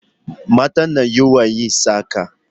Mata na yawan yin saƙa